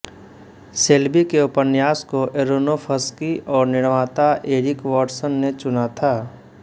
Shelby के उपन्यास को एरोनोफ़्स्की और निर्माता एरिक वॉटसन ने चुना था